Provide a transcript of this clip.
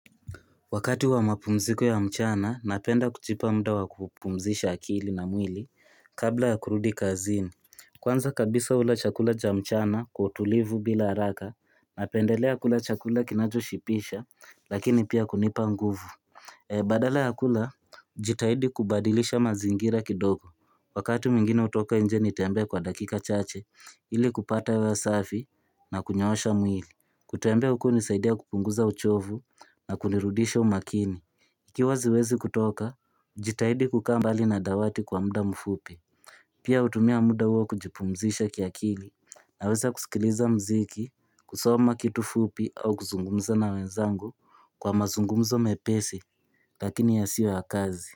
Wakati wa mapumziko ya mchana, napenda kujipa muda wa kupumzisha akili na mwili kabla ya kurudi kazini. Kwanza kabisa hula chakula cha mchana kwa utulivu bila haraka, napendelea kula chakula kinachoshibisha lakini pia kunipa nguvu. Badala ya kula, jitahidi kubadilisha mazingira kidogo. Wakati mwingine hutoka nje nitembee kwa dakika chache ili kupata hewa safi na kunyoosha mwili. Kutembea huku hunisaidia kupunguza uchovu na kunirudisha umakini Ikiwa siwezi kutoka, jitahidi kukaa mbali na dawati kwa muda mfupi Pia hutumia muda huo kujipumzisha kiakili Naweza kusikiliza mziki, kusoma kitu fupi au kuzungumza na wenzangu Kwa mazungumzo mepesi, lakini yasiyo ya kazi.